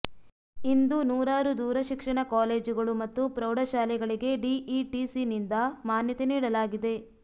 ಇಂದು ನೂರಾರು ದೂರ ಶಿಕ್ಷಣ ಕಾಲೇಜುಗಳು ಮತ್ತು ಪ್ರೌಢಶಾಲೆಗಳಿಗೆ ಡಿಇಟಿಸಿನಿಂದ ಮಾನ್ಯತೆ ನೀಡಲಾಗಿದೆ